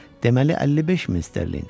Deməli 55 min sterlinq.